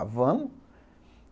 Ah, vamos.